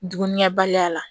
Dumunikɛbaliya la